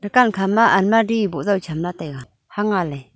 dukan khama almadi boh jaw cham la taiga hanga ley.